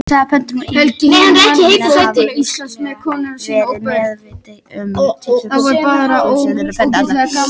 Saga pöndunnar Íbúar Kína hafa vissulega verið meðvitaðir um tilvist pöndunnar alla tíð.